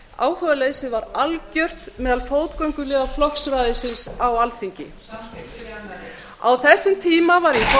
áhugaleysið var algert meðal fótgönguliða flokksræðisins á alþingi þú samþykktir á þessum tíma var ég formaður